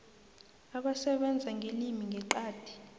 abasebenza ngelimi ngeqadi